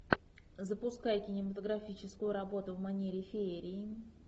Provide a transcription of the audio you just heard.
запускай кинематографическую работу в манере феерии